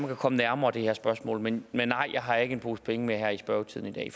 kan komme nærmere det her spørgsmål men nej jeg har ikke en pose penge med her i spørgetiden i